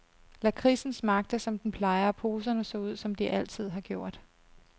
Lakridsen smagte som den plejer og poserne så ud, som de altid har gjort.